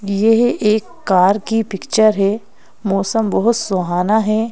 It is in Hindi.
यह एक कार की पिक्चर है मौसम बहुत सुहाना है।